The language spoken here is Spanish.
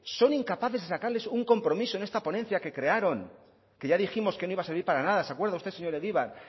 son incapaces de sacarles un compromiso en esta ponencia que crearon que ya dijimos que no iba a servir para nada se acuerda usted señor egibar